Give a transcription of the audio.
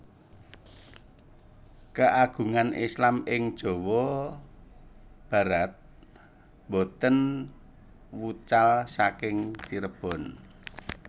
Keagungan Islam ing Jawa Barat boten wucal saking Cirebon